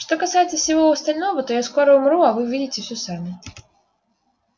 что касается всего остального то я скоро умру а вы увидите все сами